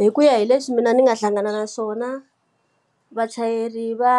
Hi ku ya hi leswi mina ndzi nga hlangana na swona, vachayeri va